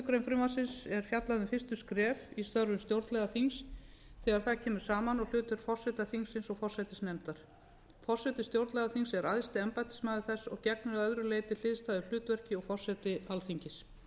grein er fjallað um fyrstu skref í störfum stjórnlagaþings þegar það kemur saman og hlutverk forseta þingsins og forsætisnefndar forseti stjórnlagaþings er æðsti embættismaður þess og gegnir að mörgu leyti hliðstæðu hlutverki og forseti alþingis